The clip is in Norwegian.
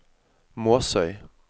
Måsøy